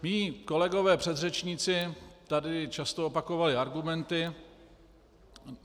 Mí kolegové předřečníci tady často opakovali argumenty.